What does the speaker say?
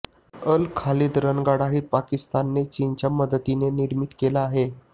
अल खालीद रणगाडाही पाकिस्तानने चीनच्या मदतीने निर्मित केला आहे